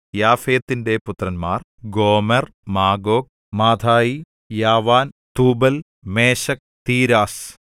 യാഫെത്തിന്റെ പുത്രന്മാർ Gomer Magog Madai യാവാൻ Tubal Meshech Tiras